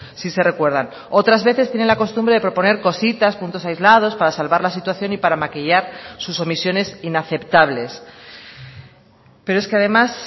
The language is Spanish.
si se recuerdan otras veces tienen la costumbre de proponer cositas puntos aislados para salvar la situación y para maquillar sus omisiones inaceptables pero es que además